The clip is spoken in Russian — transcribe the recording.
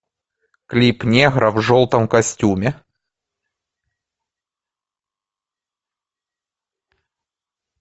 клип негра в желтом костюме